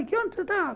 Onde você está?